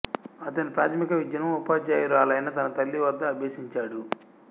అతని ప్రాథమిక విద్యను ఉపాధ్యాయురాలైన తన తల్లి వద్ద అభ్యసించాడు